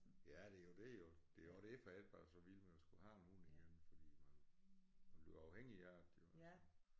Ja det jo det jo det jo også derfor jeg ikke var så vild med at skulle have en hund igen fordi man man bliver afhængig af det og sådan